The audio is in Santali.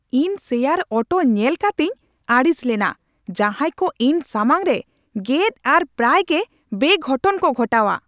ᱤᱧ ᱥᱮᱭᱟᱨ ᱚᱴᱚ ᱧᱮᱞ ᱠᱟᱛᱮᱧ ᱟᱹᱲᱤᱥ ᱞᱮᱱᱟ ᱡᱟᱦᱟᱭ ᱠᱚ ᱤᱧ ᱥᱟᱢᱟᱝ ᱨᱮ ᱜᱮᱫ ᱟᱨ ᱯᱨᱟᱭ ᱜᱮ ᱵᱮᱼᱜᱷᱚᱴᱚᱱ ᱠᱚ ᱜᱷᱚᱴᱟᱣᱟ ᱾